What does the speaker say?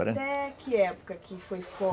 Até que época que foi for?